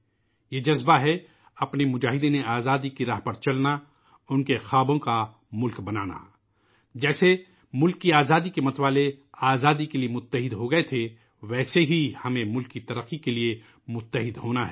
یہ جذبہ ہے ، اپنے جدو جہد آزادی کے سپاہیوں کے راستے پر چلنا ، اُن کے خوابوں کا ملک بنانا ، جیسے ملک کی آزادی کے متوالے ، آزادی کے لئے متحد ہوگئے تھے ، ویسے ہی ہمیں ملک کی ترقی کے لئے متحد ہونا ہے